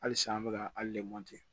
Halisa an bɛ ka hali lemuru